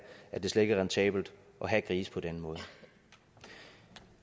at det slet ikke er rentabelt at have grise på den måde